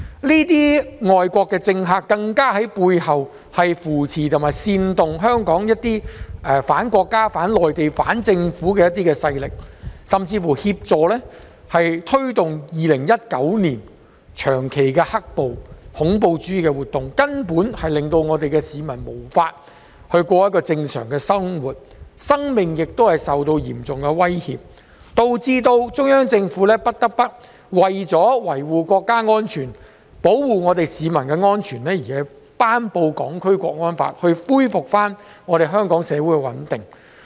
這些外國政客更在背後扶持及煽動香港裏一些反國家、反內地及反政府的勢力，甚至協助推動2019年長期的"黑暴"和恐怖主義活動，令市民無法過正常生活，生命亦受到嚴重威脅，導致中央政府不得不為了維護國家安全，保護市民安全而頒布《香港國安法》來恢復香港社會的穩定。